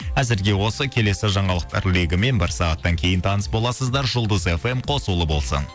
әзірге осы келесі жаңалықтар легімен бір сағаттан кейін таныс боласыздар жұлдыз фм қосулы болсын